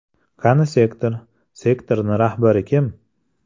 Qani sektor, sektorni rahbari kim?